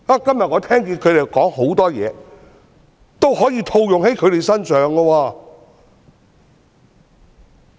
今天我聽到他們很多言論，其實也可以套用在他們身上。